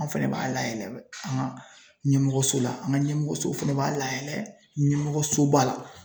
Anw fɛnɛ b'a layɛlɛ an ka ɲɛmɔgɔso la ,an ka ɲɛmɔgɔso fɛnɛ b'a layɛlɛ ɲɛmɔgɔsoba la.